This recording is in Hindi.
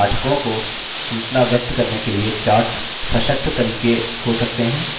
पाठकों को सूचना व्यक्त करने के लिए charts सशक्त तरीके हो सकते हैं